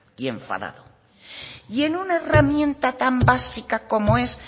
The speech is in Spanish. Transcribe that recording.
y enfadado y en una herramienta tan básica como es